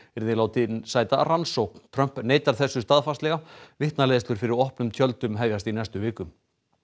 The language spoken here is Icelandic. yrði látinn sæta rannsókn Trump neitar þessu staðfastlega vitnaleiðslur fyrir opnum tjöldum hefjast í næstu viku